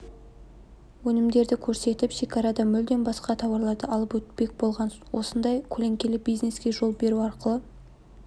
өнімдерді көрсетіп шекарадан мүлде басқа тауарларды алып өтпек болған осындай көлеңкелі бизнеске жол беру арқылы